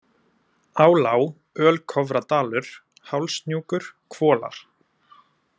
Álá, Ölkofradalur, Hálshnjúkur, Hvolar